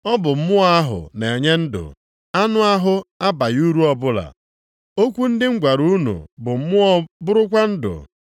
Ọ bụ Mmụọ ahụ na-enye ndụ; anụ ahụ abaghị uru ọbụla, okwu ndị m gwara unu bụ mmụọ bụrụkwa ndụ.